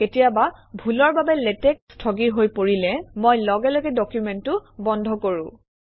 কেতিয়াবা ভুলৰ বাবে লেটেক্স স্থগিৰ হৈ পৰিলে মই লগে লগে ডকুমেণ্টটো বন্ধ কৰোঁ